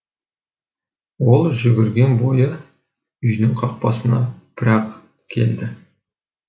ол жүгірген бойы үйдің қақпасына бір ақ келді